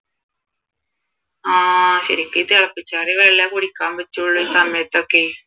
ആഹ് ശരിക്കും ഈ തിളപ്പിച്ചാറിയ വെള്ളെ കുടിക്കാൻ പറ്റൂള് ഈ സമയത്തൊക്കെയെ